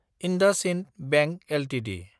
IndusInd bank Ltd